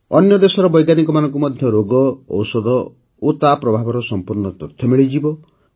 ଅନ୍ୟ ଦେଶର ବୈଜ୍ଞାନିକଙ୍କୁ ମଧ୍ୟ ରୋଗ ଔଷଧ ଏବଂ ତା ପ୍ରଭାବର ସଂପୂର୍ଣ୍ଣ ତଥ୍ୟ ମିଳିଯିବ